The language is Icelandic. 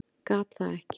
Gat það ekki.